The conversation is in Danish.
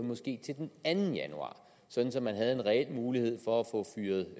måske til den anden januar så så man havde en reel mulighed for